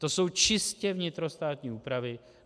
To jsou čistě vnitrostátní úpravy.